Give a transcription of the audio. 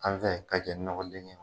An fɛ ka cɛ ɲɔgɔlen ye.